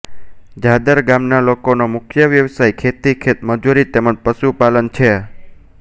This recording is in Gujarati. જાદર ગામના લોકોનો મુખ્ય વ્યવસાય ખેતી ખેતમજૂરી તેમ જ પશુપાલન છે